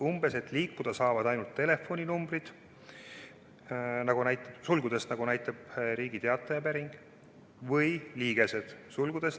Umbes et liikuda saavad ainult telefoninumbrid või liigesed .